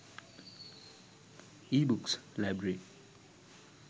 ebooks library